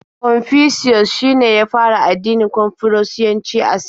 Confucius shine ya fara addinin Konfushiyanci a Sin.